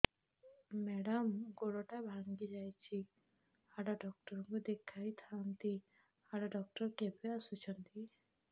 madam ଗୋଡ ଟା ଭାଙ୍ଗି ଯାଇଛି ହାଡ ଡକ୍ଟର ଙ୍କୁ ଦେଖାଇ ଥାଆନ୍ତି ହାଡ ଡକ୍ଟର କେବେ ଆସୁଛନ୍ତି